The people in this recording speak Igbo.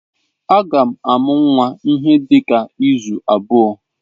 Agam amu nnwa n'ihe dika izu abuo.